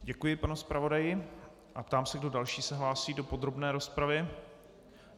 Děkuji panu zpravodaji a ptám se, kdo další se hlásí do podrobné rozpravy.